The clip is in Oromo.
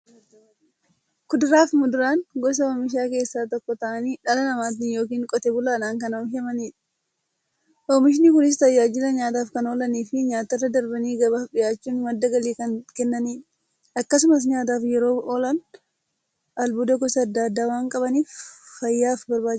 Kuduraafi muduraan gosa oomishaa keessaa tokko ta'anii, dhala namaatin yookiin Qotee bulaadhan kan oomishamaniidha. Oomishni Kunis, tajaajila nyaataf kan oolaniifi nyaatarra darbanii gabaaf dhiyaachuun madda galii kan kennaniidha. Akkasumas nyaataf yeroo oolan, albuuda gosa adda addaa waan qabaniif, fayyaaf barbaachisoodha.